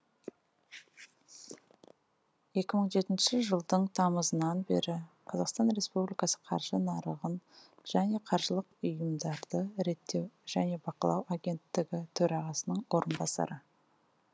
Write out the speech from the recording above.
екі мың жетінші жылдың тамызынан бері қазақстан республикасы қаржы нарығын және қаржылық ұйымдарды реттеу және бақылау агенттігі төрағасының орынбасары